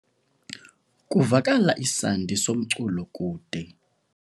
Kuvakala isandi somculo kude.